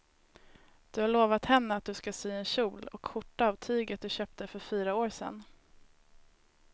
Du har lovat henne att du ska sy en kjol och skjorta av tyget du köpte för fyra år sedan.